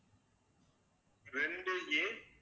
ரெண்டு a